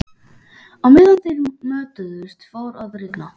Á meðan þeir mötuðust fór að rigna.